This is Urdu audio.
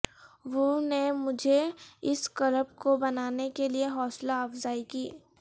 وو نے مجھے اس کلپ کو بنانے کے لئے حوصلہ افزائی کی